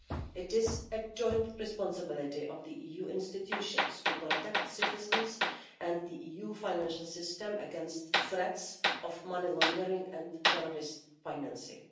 It is a joint responsibility of the EU institutions to protect citizens and the EU financial system against threats of money laundering and terrorist financing.